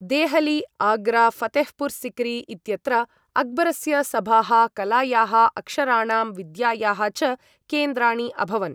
देहली, आग्रा, फतेहपुर् सिक्री इत्यत्र अक्बरस्य सभाः कलायाः, अक्षराणां, विद्यायाः च केन्द्राणि अभवन्।